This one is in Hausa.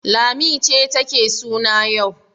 Lanti ce take suna yau.